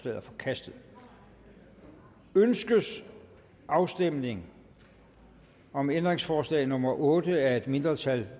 er forkastet ønskes afstemning om ændringsforslag nummer otte af et mindretal